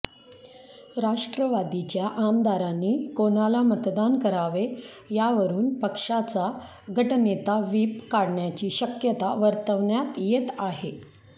राष्ट्रवादीच्या आमदारांनी कोणाला मतदान करावे यावरून पक्षाचा गटनेता व्हीप काढण्याची शक्यता वर्तवण्यात येत आहे